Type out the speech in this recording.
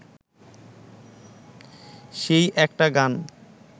সেই একটা গান